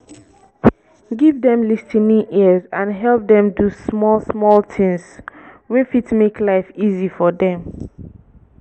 give dem lis ten ing ears and help dem do small small things wey fit make life easy for them